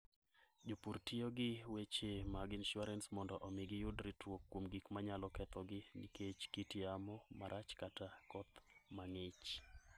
Jopur tiyo gi weche mag insuarans mondo omi giyud ritruok kuom gik manyalo kethogi nikech kit yamo marach kata koth mang'ich.